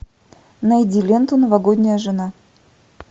найди ленту новогодняя жена